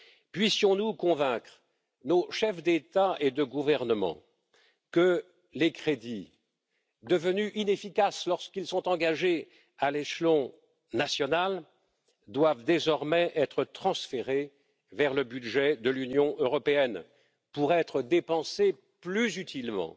Puissions nous convaincre nos chefs d'État et de gouvernement que les crédits, devenus inefficaces lorsqu'ils sont engagés à l'échelon national, doivent désormais être transférés vers le budget de l'Union européenne pour être dépensés plus utilement.